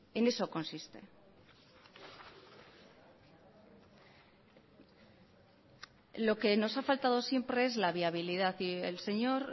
en eso consiste lo que nos ha faltado siempre es la viabilidad y el señor